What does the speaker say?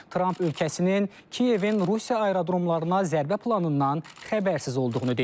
Tramp ölkəsinin Kiyevin Rusiya aerodromlarına zərbə planından xəbərsiz olduğunu deyib.